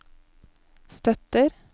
støtter